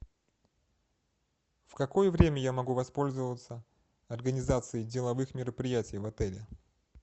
в какое время я могу воспользоваться организацией деловых мероприятий в отеле